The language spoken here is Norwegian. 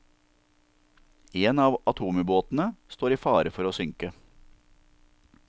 En av atomubåtene står i fare for å synke.